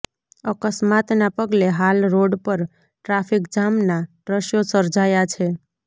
અકસ્માતના પગલે હાલ રોડ પર ટ્રાફિકજામના દ્રશ્યો સર્જાયા છે